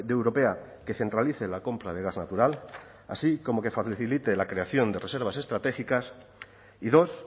europea que centralice la compra de gas natural así como que facilite la creación de reservas estratégicas y dos